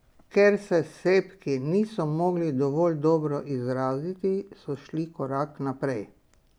Ker se s sebki niso mogli dovolj dobro izraziti, so šli korak naprej.